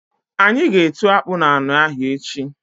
Anyi g'etu akpụ n'anị ahụ echi.